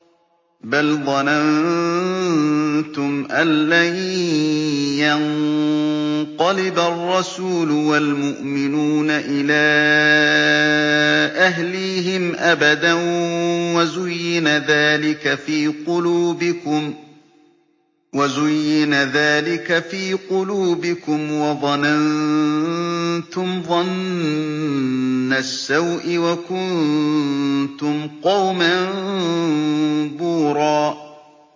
بَلْ ظَنَنتُمْ أَن لَّن يَنقَلِبَ الرَّسُولُ وَالْمُؤْمِنُونَ إِلَىٰ أَهْلِيهِمْ أَبَدًا وَزُيِّنَ ذَٰلِكَ فِي قُلُوبِكُمْ وَظَنَنتُمْ ظَنَّ السَّوْءِ وَكُنتُمْ قَوْمًا بُورًا